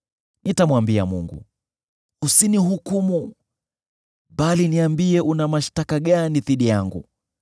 Nitamwambia Mungu: Usinihukumu, bali niambie una mashtaka gani dhidi yangu.